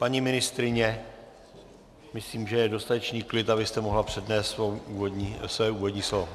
Paní ministryně, myslím, že je dostatečný klid, abyste mohla přednést své úvodní slovo.